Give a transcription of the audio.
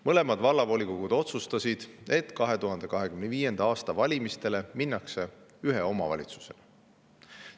Mõlemad vallavolikogud otsustasid, et 2025. aasta valimistele minnakse ühe omavalitsusena.